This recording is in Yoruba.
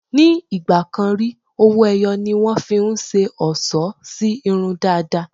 Ní ì̀gbàkan rí, owó-ẹyọ ni wọ́n fi ń ṣe ọlṣọ́ sí irun dàda.